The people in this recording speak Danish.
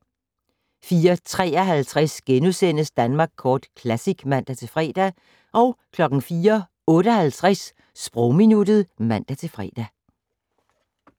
04:53: Danmark Kort Classic *(man-fre) 04:58: Sprogminuttet (man-fre)